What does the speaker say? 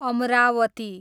Amravati